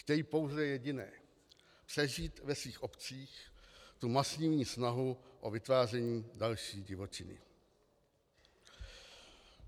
Chtějí pouze jediné: přežít ve svých obcích tu masivní snahu o vytváření další divočiny.